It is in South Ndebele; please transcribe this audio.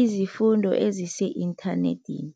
izifundo ezise-inthanethini.